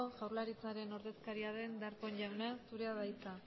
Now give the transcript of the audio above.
jaurlaritzaren ordezkaria deen darpón jauna zurea da hitza